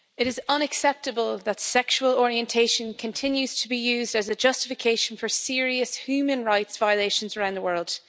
Mr President, it is unacceptable that sexual orientation continues to be used as a justification for serious human rights violations around the world.